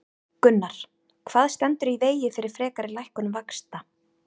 Gunnar: Hvað stendur í vegi fyrir frekari lækkun vaxta?